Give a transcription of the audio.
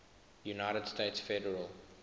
united states federal